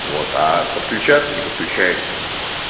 вот а подключаться не подключается